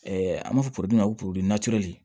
an b'a fɔ ma ko